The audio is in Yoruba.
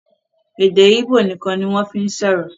èdè igbó nìkan ni wọ́n fí ń sọ̀rọ̀